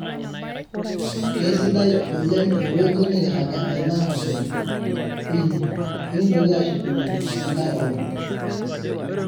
keisidai oleng ewueji nikiraga tena hoteli inyi ,ekintoki ashukunye enkae olong